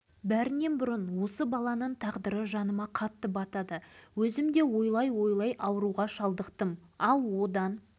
бұған дейін ядролық сынақ зардабын шегіп отырған тек семей облысының халқы деген ұғым қалыптасып келді